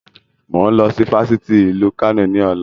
Mo ń lọ sí Fáṣítì Ìlú Kano ni ọ̀la.